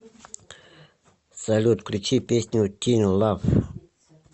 салют включи песню тин лав